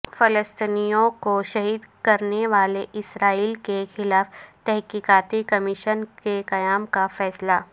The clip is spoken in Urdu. فلسطینیوں کو شہید کرنےو الے اسرائیل کے خلاف تحقیقاتی کمیشن کے قیام کا فیصلہ